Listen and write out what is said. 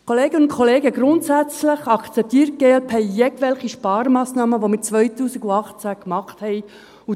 Kolleginnen und Kollegen, grundsätzlich akzeptiert die glp jegliche Sparmassnahmen, die wir 2018 getroffen haben.